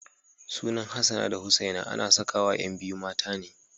Sunan Hassana da Husaina ana sakawa ƴan biyu mata ne.